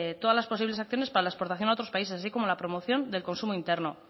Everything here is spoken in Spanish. todas las posibles acciones para la exportación a otros países así como la promoción del consumo interno